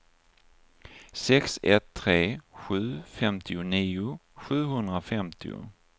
sex ett tre sju femtionio sjuhundrafemtio